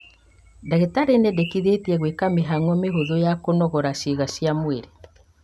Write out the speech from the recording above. Ndagĩtarĩ nĩendekithĩtie gwĩka mĩhang'o mĩhũthũ ya kũnogora ciĩga cia mwĩrĩ